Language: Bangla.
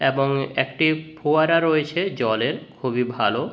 এবং একটি ফোয়ারা রয়েছে জলের খুবই ভালো।